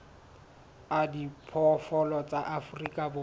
a diphoofolo tsa afrika borwa